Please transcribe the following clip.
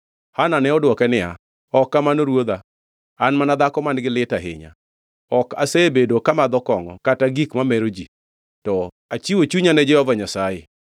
Hana ne odwoke niya, Ok kamano ruodha. An mana dhako man-gi lit ahinya. Ok asebedo kamadho kongʼo kata gik mamero ji, to achiwo chunya ne Jehova Nyasaye.